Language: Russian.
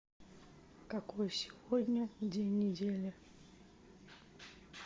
какой сегодня день недели